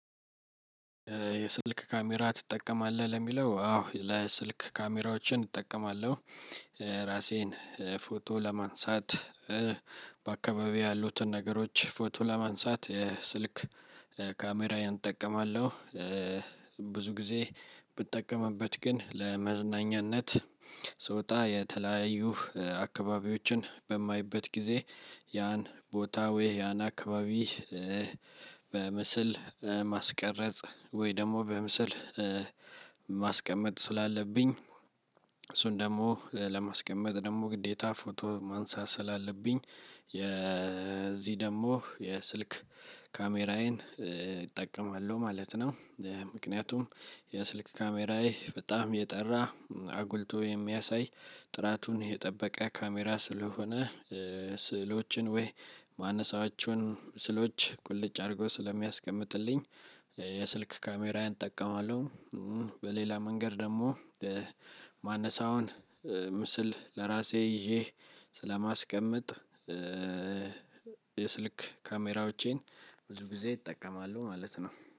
የስልክ ካሜራ ትጠቀማለህ? ለሚለው አዎ ለስልክ ካሜራዎችን እጠቀማለሁ። ራሴን ፎቶ ለማንሳት በአካባቢው ያሉትን ነገሮች ፎቶ ለማንሳት ስልክ ካሜራዬን እጠቀማለሁ። ብዙ ጊዜ ብጠቀምበት ግን ለመዝናኛነት ስወጣ የተለያዩ አካባቢዎችን በማይበት ጊዜ ያን ቦታ ወይ ያን አካባቢ በምስል ማስቀረጽ ወይ ደግሞ በምስል ማስቀመጥ ስላለብኝ፤ እሱን ደግሞ ለማስቀመጥ ደግሞ ግዴታ ፎቶ ማንሳት ስላለብኝ፤ የዚህ ደግሞ የስልክ ካሜራዬን እጠቀማለሁ ማለት ነው። ምክንያቱም የስልክ ካሜራዬ በጣም የጠራ አጉልቶ የሚያሳይ ጥራቱን የጠበቀ ካሜራ ስለሆነ ስዕሎችን ወይ ማነሳቸውን ስዕሎች ቁልጭ አድርጎ ስለሚያስቀምጥልኝ የስልክ ካሜራዬን እጠቀማለሁ። በሌላ መንገድ ደግሞ የማነሳውን ምስል ለራሴ ይዤ ስለማስቀመጥ የስልክ ካሜራዎቼን ብዙ ጊዜ እጠቀማለሁ ማለት ነው።